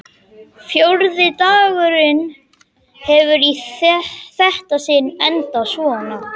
Fjórði dagurinn hefur í þetta sinnið endað svona.